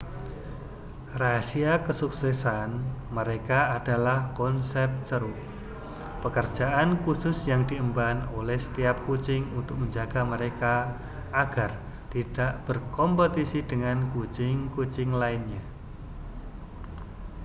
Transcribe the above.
rahasia kesuksesan mereka adalah konsep ceruk pekerjaan khusus yang diemban oleh setiap kucing untuk menjaga mereka agar tidak berkompetisi dengan kucing-kucing lainnya